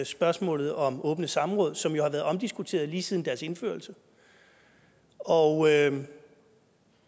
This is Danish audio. spørgsmålet om åbne samråd som jo har været omdiskuteret lige siden deres indførelse og